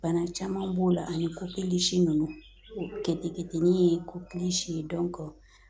Bana caman b'o la ani kɔkilisi ninnu o keteketenin ye kokili si